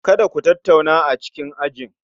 Kada Ku tattauna a cikin ajin